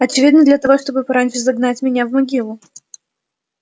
очевидно для того чтобы пораньше загнать меня в могилу